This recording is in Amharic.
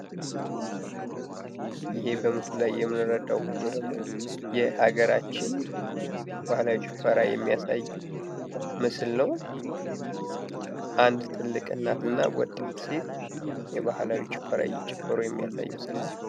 ይህ በምስሉ ላይ የምንረዳው ፎቶ ደግሞ የሀገራችንን ባህላዊ ጭፈራ የሚያሳይ ምስል ነው። አንድ ትልቅ እና ወጣት የባህላዊ ጭፈራ እየጨፈሩ የሚያሳይ ምስል ነው።